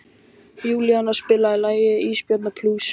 Júníana, spilaðu lagið „Ísbjarnarblús“.